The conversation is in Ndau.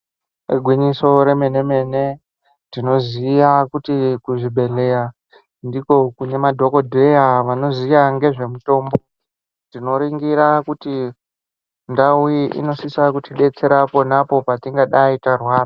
Igwinyiso remene-mene tinoziya kuti kuzvibhedhleya ndiko kune madhokodheya vanoziya ngezvemitombo dzinoringira kuti ndau iyi onosisa kutidetsera ponapo petingadai tarwara.